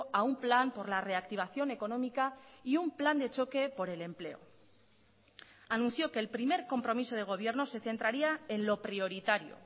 a un plan por la reactivación económica y un plan de choque por el empleo anunció que el primer compromiso de gobierno se centraría en lo prioritario